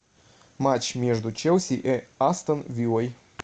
матч между челси и астон виллой